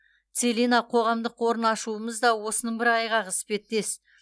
целина қоғамдық қорын ашуымыз да осының бір айғағы іспеттес